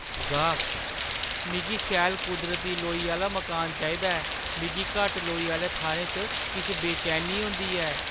गाह्कः "मिगी शैल कुदरती लोई आह्‌ला मकान चाहिदा ऐ; मिगी घट्ट लोई आह्‌ले थाह्‌रें च किश बेचैनी होंदी ऐ।"